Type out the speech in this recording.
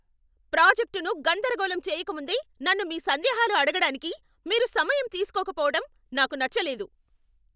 ప్రాజెక్టును గందరగోళం చేయకముందే నన్ను మీ సందేహాలు అడగడానికి మీరు సమయం తీస్కోకపోవటం నాకు నచ్చలేదు.